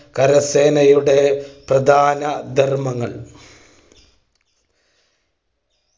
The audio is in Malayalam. കരസേനയുടെ പ്രധാന ധർമ്മങ്ങൾ